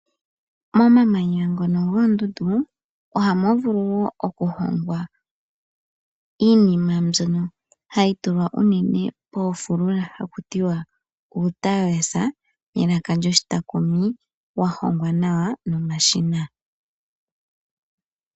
Momamanya ngoka goondundu ohamu vulu wo okuhongwa iinima mbyono hayi tulwa unene moofulula haku tiwa uutalalesa melaka lyo shi taakumi, wa hongwa nawa nomashina.